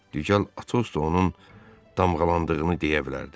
Düzdür, açığı o da onun damğalandığını deyə bilərdi.